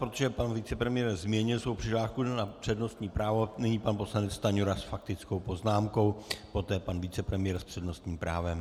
Protože pan vicepremiér změnil svou přihlášku na přednostní právo, nyní pan poslanec Stanjura s faktickou poznámkou, poté pan vicepremiér s přednostním právem.